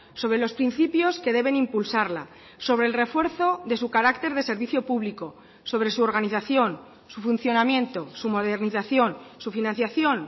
sobre los principios que deben impulsarla sobre el refuerzo de su carácter de servicio público sobre su organización su funcionamiento su modernización su financiación